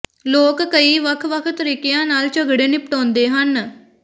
ਲੋਕ ਕਈ ਵੱਖ ਵੱਖ ਤਰੀਕਿਆਂ ਨਾਲ ਝਗੜੇ ਨਿਪਟਾਉਂਦੇ ਹਨ